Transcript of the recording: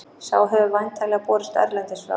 Sá hefur væntanlega borist erlendis frá.